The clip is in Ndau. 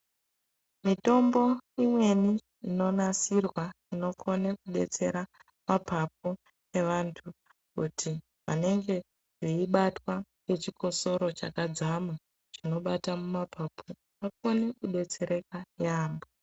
Mitombo imweni inonasirwa inokone kudetsera mapapu evantu kuti anenge veibatwa ngechikosoro chakadzama chinobata mapapu vakone kudetsereka yaambo.